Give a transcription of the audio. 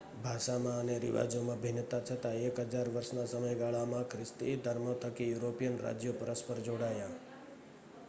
ભાષામાં અને રિવાજોમાં ભિન્નતા છતાં એક હજાર વર્ષના સમયગાળામાં ખ્રિસ્તી ધર્મ થકી યુરોપિયન રાજ્યો પરસ્પર જોડાયાં i